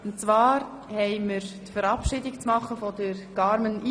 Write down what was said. Und zwar verabschieden wir Carmen Iseli.